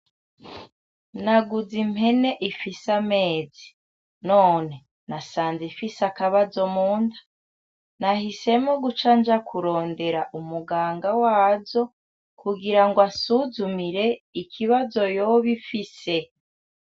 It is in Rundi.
Nagize impene ifise amezi , none! nasanze ifise akabazo Munda ! Nahisemwo kuca nja kurondera umuganga wazo kugirango ansuzumire ikibazo yoba ifise .